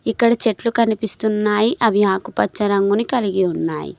ఇక్కడ చెట్లు కనిపిస్తున్నాయి. అవి ఆకుపచ్చ రంగుని కలిగి ఉన్నాయి.